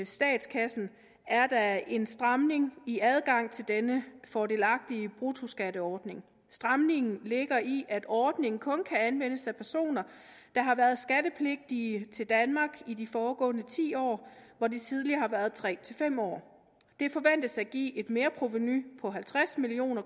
statskassen er der en stramning i adgangen til denne fordelagtige bruttoskatordning stramningen ligger i at ordningen kun kan anvendes af personer der har været skattepligtige til danmark i de foregående ti år hvor det tidligere har været tre fem år det forventes at give et merprovenu på halvtreds million